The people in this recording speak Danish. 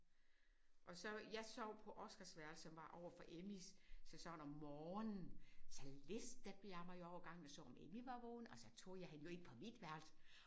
Og så jeg sov på Oscars værelse som var overfor Emmys så sådan om morgenen så listede jeg mig jo over gangen og så om Emmy var vågen og så tog jeg hende jo ind på mit værelse